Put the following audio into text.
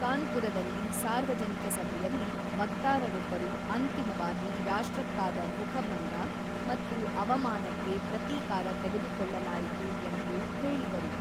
ಕಾನ್ಪುರದಲ್ಲಿ ಸಾರ್ವಜನಿಕ ಸಭೆಯಲ್ಲಿ, ವಕ್ತಾರರೊಬ್ಬರು ಅಂತಿಮವಾಗಿ ರಾಷ್ಟ್ರಕ್ಕಾದ ಮುಖಭಂಗ ಮತ್ತು ಅವಮಾನಕ್ಕೆ ಪ್ರತೀಕಾರ ತೆಗೆದುಕೊಳ್ಳಲಾಯಿತು ಎಂದು ಹೇಳಿದರು.